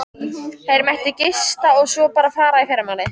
Þeir mættu gista og svo bara fara í fyrramálið.